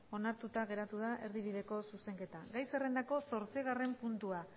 onartuta geratu da erdibideko zuzenketa gai zerrendako zortzigarren puntua